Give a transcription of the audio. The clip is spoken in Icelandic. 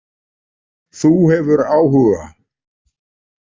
Þú hefur áhuga.